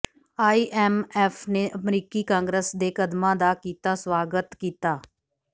IMF ਨੇ ਅਮਰੀਕੀ Congress ਦੇ ਕਦਮਾਂ ਦਾ ਕੀਤਾ ਸਵਾਗਤ ਕੀਤਾ